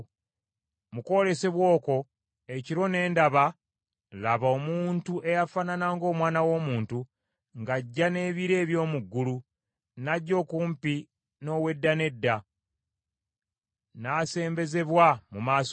“Mu kwolesebwa okwo ekiro ne ndaba, laba, omuntu eyafaanana ng’omwana w’omuntu, ng’ajja n’ebire eby’omu ggulu. N’ajja okumpi n’Owedda n’Edda, n’asembezebwa mu maaso ge.